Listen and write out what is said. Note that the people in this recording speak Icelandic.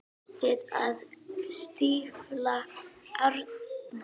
Hættið að stífla árnar.